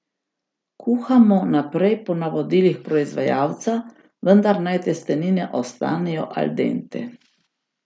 Kuhamo naprej po navodilih proizvajalca, vendar naj testenine ostanejo al dente.